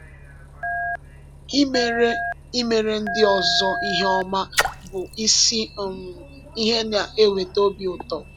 Imere Imere ndị ọzọ ihe ọma bụ isi um ihe na-eweta obi ụtọ.